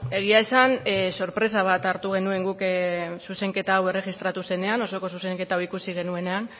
egia esan sorpresa bat hartu genuen guk zuzenketa hau erregistratu zenean osoko zuzenketa hau ikusi genuenean